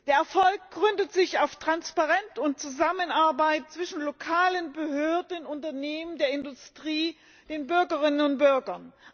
Der Erfolg gründet sich auf Transparenz und Zusammenarbeit zwischen lokalen Behörden, Unternehmen der Industrie, den Bürgerinnen und Bürgern.